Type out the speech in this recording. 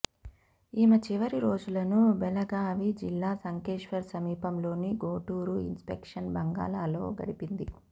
ఈమె చివరి రోజులను బెళగావి జిల్లా సంకేశ్వర్ సమీపంలోని గోటూరు ఇన్స్పెక్షన్ బంగళాలో గడిపింది